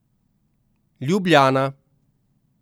Ljubljana.